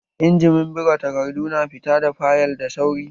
Injimin buga takardu na fita da fayil da sauri